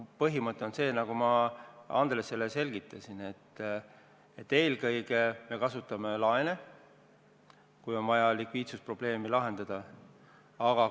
Põhimõte on see, nagu ma Andreselegi selgitasin, et eelkõige me kasutame likviidsusprobleemi lahendamiseks laene.